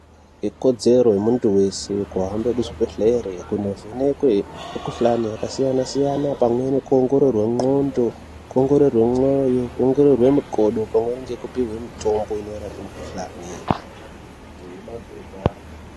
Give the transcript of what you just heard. Ikodzero yemuntu wese kuhambe kuzvibhehlere kunovhekwe mukuhlani yakasiyansiyana pamwe nekuongorowe ngqondo, kuongororwe mwoyo, kuongororwe mukodo pamweni ngekupihwe mitombo inorape mikuhlani.